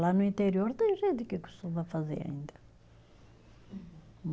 Lá no interior tem gente que costuma fazer ainda.